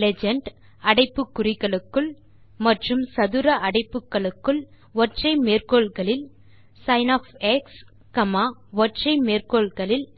legend அடைப்பு குறிகளுக்குள் மற்றும் சதுர அடைப்புகளுக்குள் ஒற்றை மேற்கோள்களுக்குள் சின் ஒஃப் எக்ஸ் காமா ஒற்றை மேற்கோள்களில்